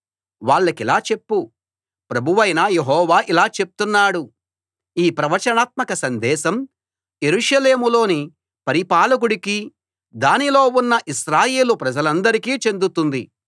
వాళ్ళకిలా చెప్పు ప్రభువైన యెహోవా ఇలా చెప్తున్నాడు ఈ ప్రవచనాత్మక సందేశం యెరూషలేములోని పరిపాలకుడికీ దానిలో ఉన్న ఇశ్రాయేలు ప్రజలందరికీ చెందుతుంది